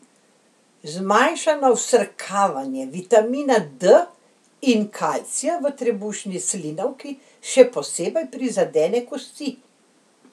Zmanjšano vsrkavanje vitamina D in kalcija v trebušni slinavki še posebej prizadene kosti.